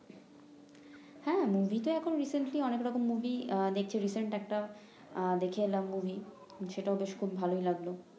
হ্যাঁ মুভি তো এখন অনেক রকম মুভিই দেখছি একটা দেখে এলাম মুভি সেটাও বেশ খুব ভালই লাগলো